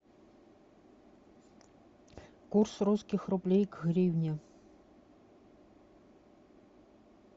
курс русских рублей к гривне